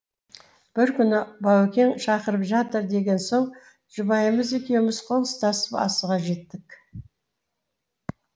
бір күні баукең шақырып жатыр деген соң жұбайымыз екеуміз қол ұстасып асыға жеттік